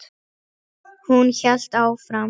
Hún hélt áfram.